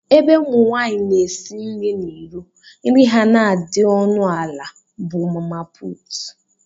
Ebe ụmụ nwanyị na-esi nri n’iro, nri ha na-adị onu ala bụ mamapụtu